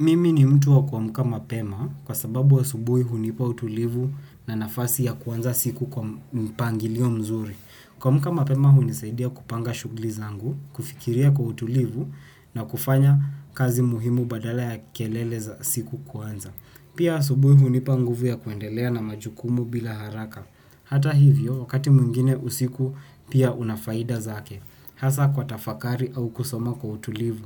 Mimi ni mtu wa kuamuka mapema kwa sababu asubuhi hunipa utulivu na nafasi ya kuanza siku kwa mpangilio mzuri. Kuamuka mapema hunisaidia kupanga shughuli zangu, kufikiria kwa utulivu na kufanya kazi muhimu badala ya kelele za siku kuanza. Pia asubuhi hunipa nguvu ya kuendelea na majukumu bila haraka. Hata hivyo, wakati mwingine usiku pia unafaida zake. Hasa kwa tafakari au kusoma kwa utulivu.